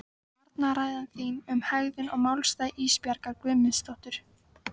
Varnarræða þín um hegðun og málstað Ísbjargar Guðmundsdóttur.